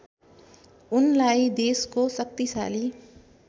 उनलाई देशको शक्तिशाली